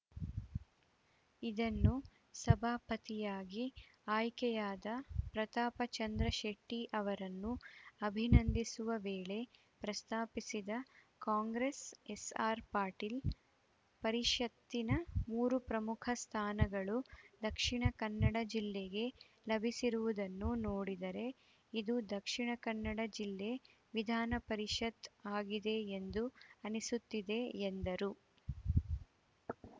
ಇದನ್ನು ಸಭಾಪತಿಯಾಗಿ ಆಯ್ಕೆಯಾದ ಪ್ರತಾಪಚಂದ್ರಶೆಟ್ಟಿ ಅವರನ್ನು ಅಭಿನಂದಿಸುವ ವೇಳೆ ಪ್ರಸ್ತಾಪಿಸಿದ ಕಾಂಗ್ರೆಸ್‌ ಎಸ್‌ಆರ್‌ಪಾಟೀಲ್‌ ಪರಿಷತ್ತಿನ ಮೂರು ಪ್ರಮುಖ ಸ್ಥಾನಗಳು ದಕ್ಷಿಣ ಕನ್ನಡ ಜಿಲ್ಲೆಗೆ ಲಭಿಸಿರುವುದನ್ನು ನೋಡಿದರೆ ಇದು ದಕ್ಷಿಣ ಕನ್ನಡ ಜಿಲ್ಲೆ ವಿಧಾನ ಪರಿಷತ್‌ ಆಗಿದೆ ಎಂದು ಅನಿಸುತ್ತಿದೆ ಎಂದರು